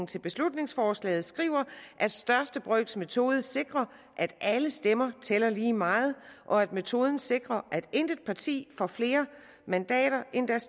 til beslutningsforslaget skriver at største brøks metode sikrer at alle stemmer tæller lige meget og at metoden sikrer at intet parti får flere mandater end deres